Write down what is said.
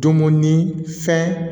Dumuni fɛn